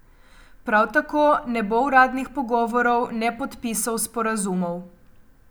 Prav tako ne bo uradnih pogovorov, ne podpisov sporazumov.